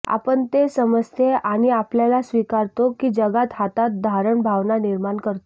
आपण ते समजते आणि आपल्याला स्वीकारतो की जगात हातात धारण भावना निर्माण करतो